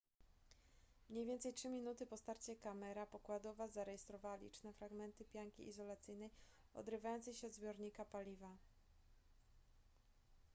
mniej więcej 3 minuty po starcie kamera pokładowa zarejestrowała liczne fragmenty pianki izolacyjnej odrywające się od zbiornika paliwa